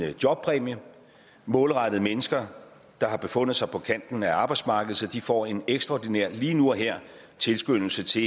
en jobpræmie målrettet mennesker der har befundet sig på kanten af arbejdsmarkedet så de får en ekstraordinær lige nu og her tilskyndelse til